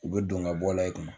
U bɛ don ka bɔ la i kun.